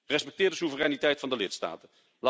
Respecteer de soevereiniteit van de lidstaten.